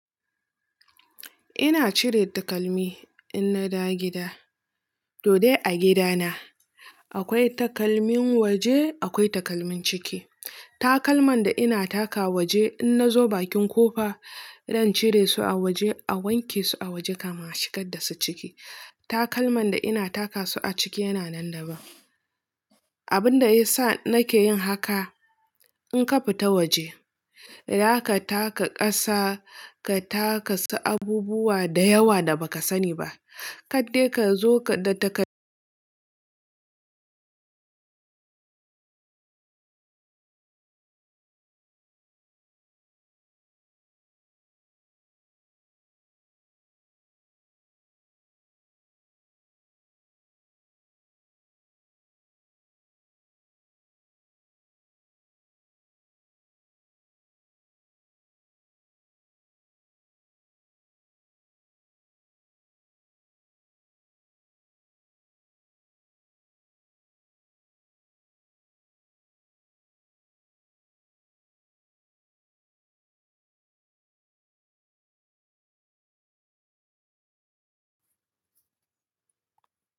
Ina cire takalmi in na dawo gida. To dai a gida na akwai takalmin waje, akwai takalmin ciki. Takalman da ina taka waje in na zo bakin ƙofa. Zan cire su a waje a wanke su a waje kamin a shigar da su ciki. Takalman da ina taka su a ciki yana nan daban. Abin da ya sa nake yin haka in ka fita waje, za ka taka ƙasa, ka taka su abubuwa da yawa da ba ka sani ba kaddai ka zo ka da takad.